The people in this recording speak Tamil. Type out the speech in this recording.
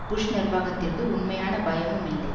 புஷ் நிர்வாகத்திற்கு உண்மையான பயமுமில்லை